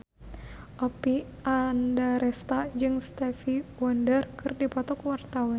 Oppie Andaresta jeung Stevie Wonder keur dipoto ku wartawan